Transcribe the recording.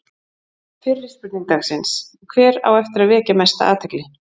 Fyrri spurning dagsins: Hver á eftir að vekja mesta athygli?